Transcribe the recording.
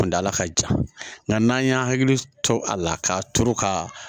Kuntaala ka jan nga n'an y'an hakili to a la k'a turu ka